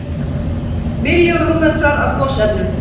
Milljón rúmmetrar af gosefnum